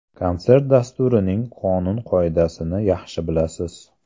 Konsert dasturining qonun-qoidasini yaxshi bilasiz.